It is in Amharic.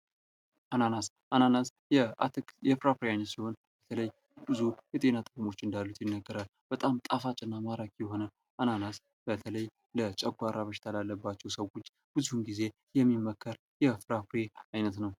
አናናስ፦ አናናስ የአትክልት ወይም ፍራፍሬ ዓይነት ሲሆን ብዙ የጤና ጥቅሞች እንዳሉት ይነገራል። ጣፋጭና ማራኪ የሆነው አናናስ በተለይ የጨጓራ በሽታ ላለባቸው ሰዎች ብዙ ጊዜ የሚመከር የፍራፍሬ አይነት ነው።